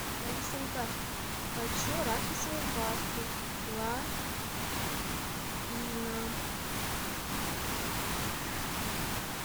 алисонька хочу арахисовую пасту лапина